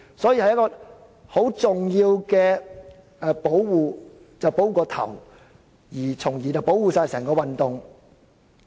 所以，先要保護頭目，從而保護整個工業運動。